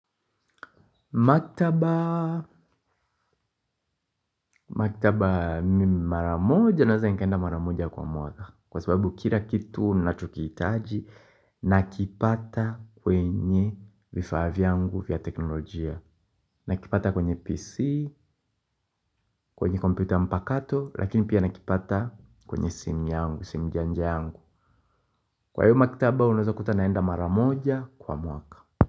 Maktaba, maktaba mara moja naweza nikaenda mara moja kwa mwaka kwa sababu kila kitu na tukihitaji nakipata kwenye vifaa vyangu vya teknolojia. Nakipata kwenye PC, kwenye kompyuta mpakato lakini pia nakipata kwenye simu yangu, simu janja yangu. Kwa hiyo maktaba unaweza kuta naenda mara moja kwa mwaka.